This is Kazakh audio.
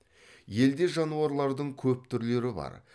елде жануарлардың көп түрлері бар